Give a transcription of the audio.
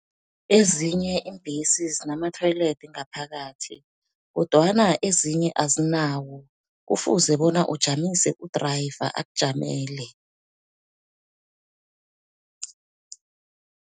Ezinye iimbhesi zinama-toilet ngaphakathi kodwana ezinye azinawo, kufuze bona ujamise u-driver akujamele.